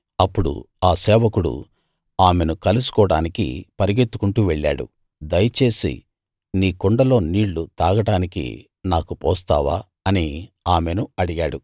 అప్పుడు ఆ సేవకుడు ఆమెను కలుసుకోడానికి పరుగెత్తుకుంటూ వెళ్ళాడు దయచేసి నీ కుండలో నీళ్ళు తాగడానికి నాకు పోస్తావా అని ఆమెను అడిగాడు